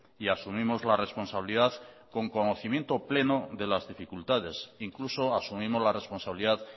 y asumimos la responsabilidad con conocimiento pleno de las dificultades incluso asumimos la responsabilidad